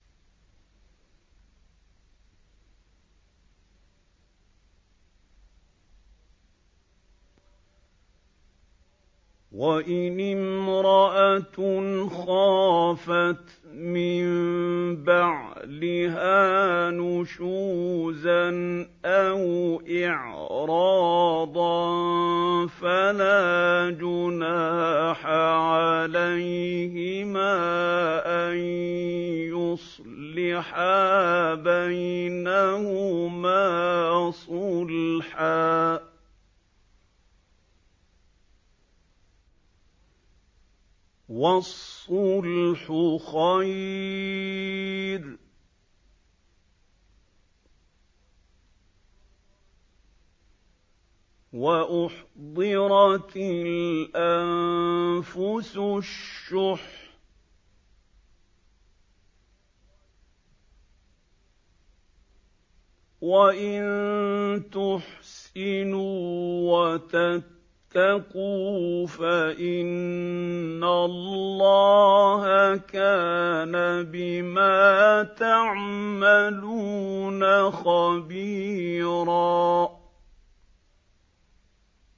وَإِنِ امْرَأَةٌ خَافَتْ مِن بَعْلِهَا نُشُوزًا أَوْ إِعْرَاضًا فَلَا جُنَاحَ عَلَيْهِمَا أَن يُصْلِحَا بَيْنَهُمَا صُلْحًا ۚ وَالصُّلْحُ خَيْرٌ ۗ وَأُحْضِرَتِ الْأَنفُسُ الشُّحَّ ۚ وَإِن تُحْسِنُوا وَتَتَّقُوا فَإِنَّ اللَّهَ كَانَ بِمَا تَعْمَلُونَ خَبِيرًا